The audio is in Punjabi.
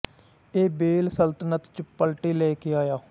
ਇਹ ਵੇਲ ਸਲਤਨਤ ਚ ਪਲਟੇ ਲੈ ਕੇ ਆਇਆ